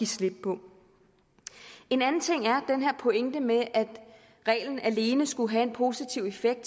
slip på en anden ting er den her pointe med at reglen alene skulle have en positiv effekt